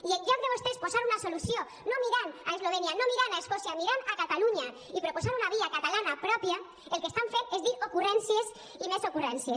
i en lloc de vostès posar una solució no mirant a eslovènia no mirant a escòcia mirant a catalunya i proposant una via catalana pròpia el que estan fent és dir ocurrències i més ocurrències